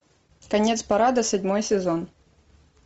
конец парада седьмой сезон